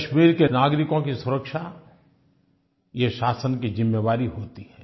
कश्मीर के नागरिकों की सुरक्षा ये शासन की जिम्मेवारी होती है